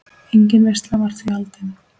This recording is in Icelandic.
Engin veisla var því haldin.